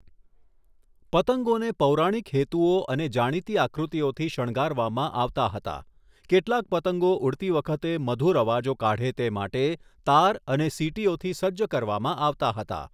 પતંગોને પૌરાણિક હેતુઓ અને જાણીતી આકૃતિઓથી શણગારવામાં આવતા હતા, કેટલાક પતંગો ઉડતી વખતે મધુર અવાજો કાઢે તે માટે તાર અને સીટીઓથી સજ્જ કરવામાં આવતા હતા.